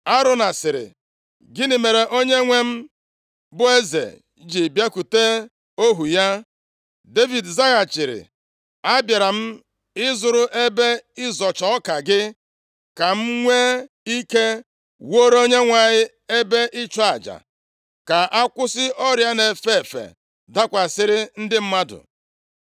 Arauna sịrị, “Gịnị mere onyenwe m, bụ eze ji bịakwute ohu ya?” Devid zaghachiri, “Abịara m ịzụrụ ebe ịzọcha ọka gị, ka m nwee ike wuore Onyenwe anyị ebe ịchụ aja; ka akwụsị ọrịa a na-efe efe dakwasịrị ndị mmadụ.”